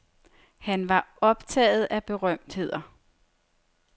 Han var optaget af berømtheder.